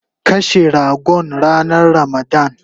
Kashe ragon ranan ramadan